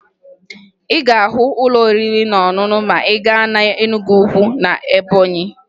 Ị ga-ahụ ụlọ oriri na ọṅụṅụ ma ị gaa na Enugwu na Ebọnyị